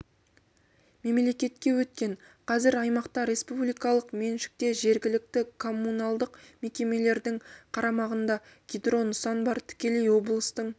мемлекетке өткен қазір аймақта республикалық меншікте жергілікті коммуналдық мекемелердің қарамағында гидро нысан бар тікелей облыстың